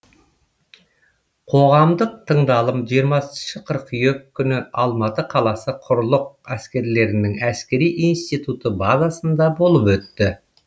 қоғамдық тыңдалым жиырмасыншы қыркүйек күні алматы қаласы құрлық әскерлерінің әскери институты базасында болып өтті